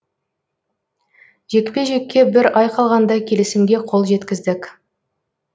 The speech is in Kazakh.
жекпе жекке бір ай қалғанда келісімге қол жеткіздік